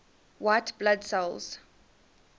white blood cells